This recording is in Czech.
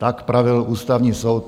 Tak pravil Ústavní soud.